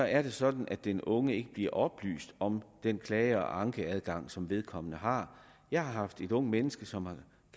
er det sådan at den unge ikke bliver oplyst om den klage og ankeadgang som vedkommende har jeg har haft et ungt menneske som har